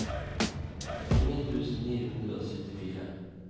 tjueni tusen ni hundre og syttifire